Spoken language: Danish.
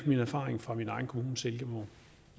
min erfaring fra min egen kommune silkeborg